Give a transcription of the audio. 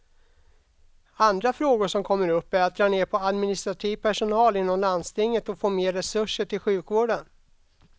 Andra frågor som kommer upp är att dra ner på administrativ personal inom landstinget och få mer resurser till sjukvården.